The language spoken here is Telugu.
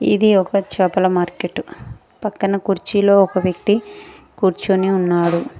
ఇది ఒకటి చాపల మార్కెటు పక్కన కుర్చీలో ఒక వ్యక్తి కూర్చొని ఉన్నాడు.